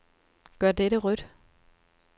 Gør dette rødt.